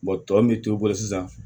tɔ min t'i bolo sisan